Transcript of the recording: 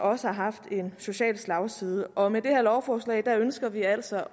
også har haft en social slagside og med det her lovforslag ønsker vi altså